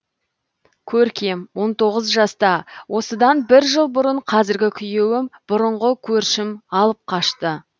көркем он тоғыз жаста осыдан бір жыл бұрын қазіргі күйеуім бұрынғы көршім алып қашты